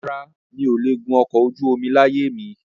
Rárá, mi ò le gùn ọkọ̀ ojú omi láyé mi